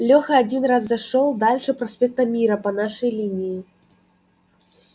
леха один раз зашёл дальше проспекта мира по нашей линии